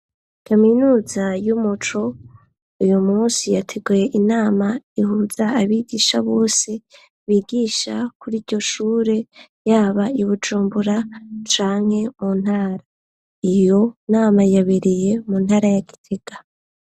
Kaminuza y'umuco ,uyu munsi yateguye inama ihuza abigisha bose bigisha kuri iryo shure ,yaba ibujumbura canke mu ntara, iyo nama yabereye mu ntara ya gitega.